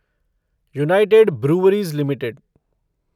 United Breweries limited